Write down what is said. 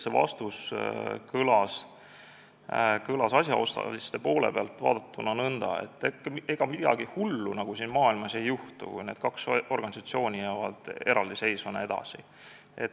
See vastus kõlas asjaosaliste poole pealt vaadatuna nõnda, et ega midagi hullu siin maailmas ei juhtu, kui need kaks organisatsiooni jäävad edasi eraldiseisvateks.